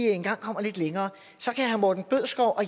engang kommer lidt længere at herre morten bødskov og